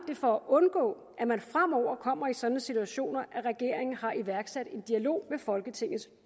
for at undgå at man fremover kommer i sådanne situationer at regeringen har iværksat en dialog med folketingets